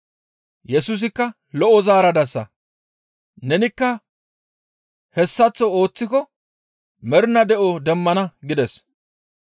Yesusikka, «Lo7o zaaradasa. Nenikka hessaththo ooththiko mernaa de7o demmana» gides.